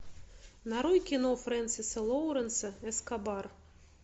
нарой кино фрэнсиса лоуренса эскобар